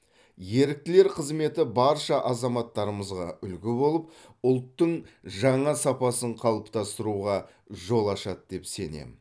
еріктілер қызметі барша азаматтарымызға үлгі болып ұлттың жаңа сапасын қалыптастыруға жол ашады деп сенемін